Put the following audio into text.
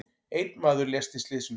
Einn maður lést í slysinu.